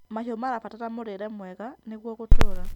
Mahĩũ marabatara mũrĩrw mwega nĩgũo gũtũra